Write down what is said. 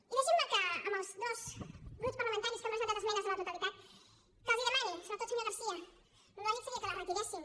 i deixin me que als dos grups parlamentaris que han presentat esmenes a la totalitat els demani sobretot senyor garcía el lògic seria que les retiressin